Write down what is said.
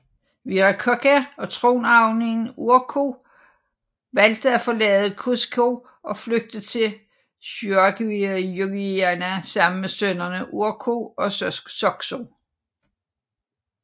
Viracocha og tronarvingen Urco valgte at forlade Cusco og flygte til Caquia Xaquixahuana sammen med sønnerne Urco og Socso